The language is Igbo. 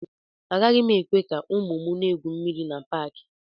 Agaghị m ekwe ka ụmụ m na-egwu mmiri na Paakị